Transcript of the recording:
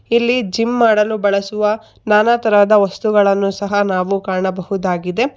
ಇಲ್ಲಿ ಜಿಮ್ ಮಾಡಲು ಬಳಸುವ ನಾನ ತರಹದ ವಸ್ತುಗಳನ್ನು ನಾವು ಕಾಣಬಹುದಾಗಿದೆ.